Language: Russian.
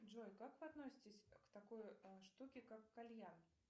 джой как вы относитесь к такой штуке как кальян